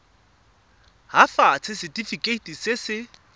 nt hafatsa setefikeiti se se